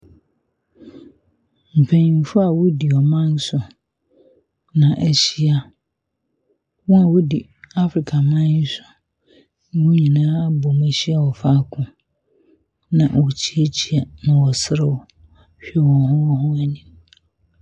Mpanyinfo a wodi ɔman so na wɔahyia. Wɔn a wodi Africa man sona wɔn nyinaa abɔ mu ahyia wɔ faako. Na wɔrekyeakyea na wɔreserew hwɛ wɔn ho wɔn ho anim.